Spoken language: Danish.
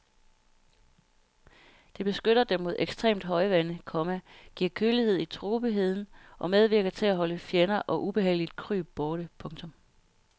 Det beskytter dem mod ekstremt højvande, komma giver kølighed i tropeheden og medvirker til at holde fjender og ubehageligt kryb borte. punktum